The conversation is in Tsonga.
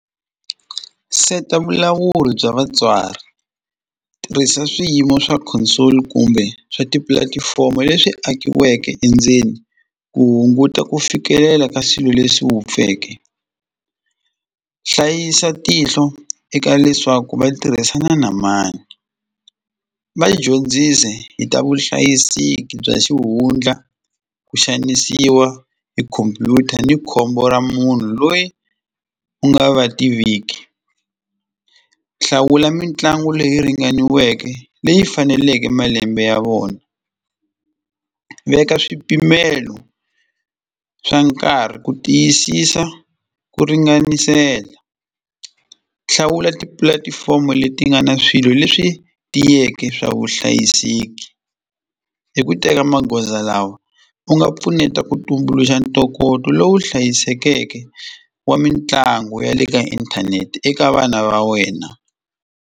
Seta vulawuri bya vatswari, tirhisa swiyimo swa console kumbe swa tipulatifomo leswi akiweke endzeni ku hunguta ku fikelela ka swilo leswi wupfeke hlayisa tihlo eka leswaku va tirhisana na mani. Va dyondzisi hi ta vuhlayiseki bya xihundla ku xanisiwa hi khomphyuta ni khombo ra munhu loyi u nga va tiviki hlawula mitlangu leyi ringaniweke leyi faneleke malembe ya vona, veka swipimelo swa nkarhi ku tiyisisa ku ringanisela, hlawula tipulatifomo leti nga na swilo leswi tiyeke swa vuhlayiseki hi ku teka magoza lawa u nga pfuneta ku tumbuluxa ntokoto lowu hlayisekeke wa mitlangu ya le ka inthanete eka vana va wena.